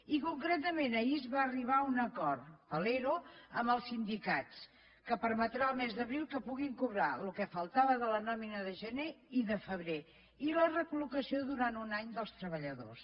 i concretament ahir es va arribar a un acord per a l’ero amb els sindicats que permetrà el mes d’abril que puguin cobrar el que faltava de la nòmina de gener i de febrer i la recollocació durant un any dels treballadors